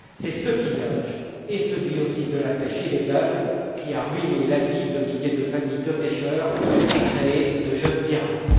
C'est ce pillage et celui aussi de la pêche illégale qui a ruiné la vie de milliers de familles de pêcheurs et créé de jeunes pirates.